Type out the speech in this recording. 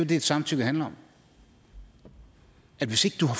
det et samtykke handler om at hvis ikke du har